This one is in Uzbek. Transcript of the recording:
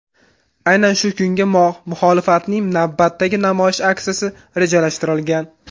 Aynan shu kunga muxolifatning navbatdagi namoyish aksiyasi rejalashtirilgan.